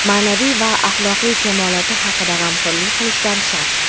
ma’naviy va axloqiy kamoloti haqida g‘amxo‘rlik qilishlari shart.